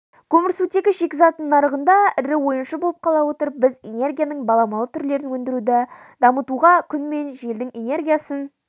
көмірсутегі шикізатының нарығында ірі ойыншы болып қала отырып біз энергияның баламалы түрлерін өндіруді дамытуға күн мен желдің энергиясын